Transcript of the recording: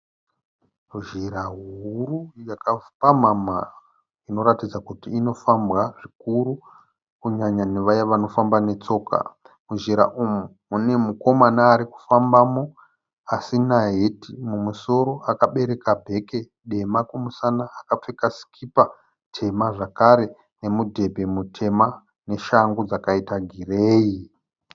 Zhira huru yakapamhama inoratidza kuti inofambwa zvikuru kunyanya nevaya vanofamba netsoka. Muzhira umu mune mukoma arikufambamo asina heti mumusoro. Akabereka bhegi dema kumusana. Akapfeka sikipa tema zvakare nemudhebhe mutema neshangu dzakaita gireyi.